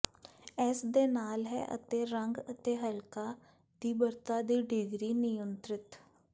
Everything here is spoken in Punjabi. ਇਸ ਦੇ ਨਾਲ ਹੈ ਅਤੇ ਰੰਗ ਅਤੇ ਹਲਕਾ ਤੀਬਰਤਾ ਦੀ ਡਿਗਰੀ ਨਿਯੰਤ੍ਰਿਤ